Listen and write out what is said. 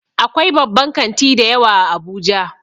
Akwai babban kanti dayawa a abuja